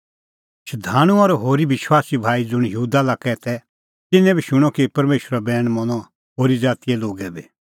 शधाणूं और होरी विश्वासी भाई ज़ुंण यहूदा लाक्कै तै तिन्नैं बी शूणअ कि परमेशरो बैण मनअ होरी ज़ातीए लोगै बी